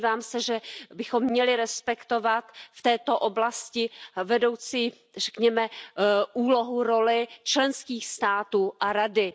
Domnívám se, že bychom měli respektovat v této oblasti vedoucí, řekněme úlohu, roli členských států a Rady.